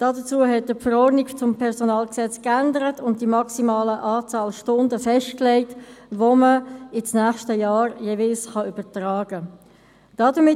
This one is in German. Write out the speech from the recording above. Dazu hat er die Verordnung zum PG geändert und die maximale Anzahl Stunden festgelegt, die jeweils ins nächste Jahr übertragen werden können.